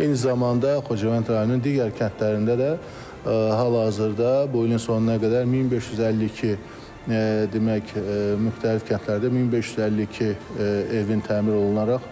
Eyni zamanda Xocavənd rayonunun digər kəndlərində də hal-hazırda bu ilin sonuna qədər 1552, demək, müxtəlif kəndlərdə 1552 evin təmir olunaraq